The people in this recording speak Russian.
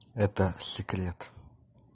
это секрет